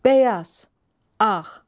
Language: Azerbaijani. Bəyaz, ağ.